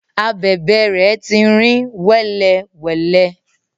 Abèbè rẹ ti rìn wẹ́lewẹ̀le.